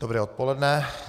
Dobré odpoledne.